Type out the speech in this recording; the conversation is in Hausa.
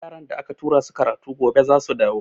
Yaran da aka tura su karatu gobe zasu dawo.